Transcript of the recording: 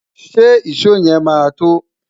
ṣé ìsọ yen má to?